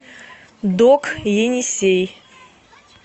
док енисей